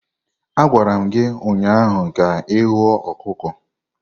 A gwara m gi ụnyahụ ka ihuo ọkụkọ.